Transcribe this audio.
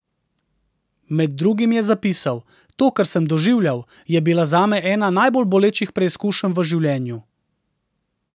Med drugim je zapisal: 'To, kar sem doživljal, je bila zame ena najbolj bolečih preizkušenj v življenju.